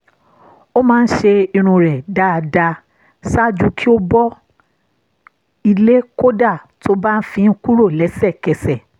ó máa ń ṣe irun rẹ̀ dáadáa ṣáájú kí ó bọ́ ilé kódà tó bá fi ń kúrò lẹ́sẹ̀kẹsẹ̀